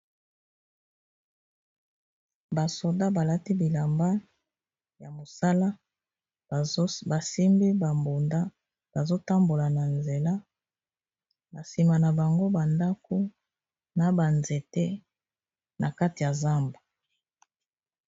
Ba soda balati bilamba ya mosala, basimbi ba mbunda bazo tambola na nzela na nsima na bango ba ndako na ba nzete na kati ya zamba.